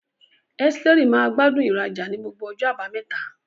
Esteri maa gbádùn ìrajà ní gbogbo ọjọ́ Àbámẹ́ta.